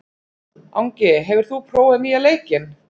Angi, hefur þú prófað nýja leikinn?